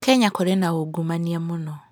Kenya kũrĩ na ungumania mũno.